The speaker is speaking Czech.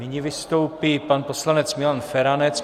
Nyní vystoupí pan poslanec Milan Feranec.